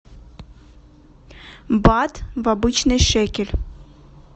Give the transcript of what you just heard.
бат в обычный шекель